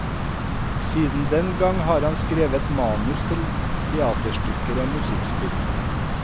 Siden den gang har han skrevet manus til teaterstykker og musikkspill.